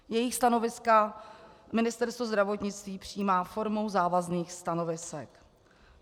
Jejich stanoviska Ministerstvo zdravotnictví přijímá formou závazných stanovisek.